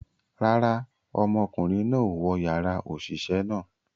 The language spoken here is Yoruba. Rara, ọmọkunrin náà o wọ yara oṣiṣẹ náà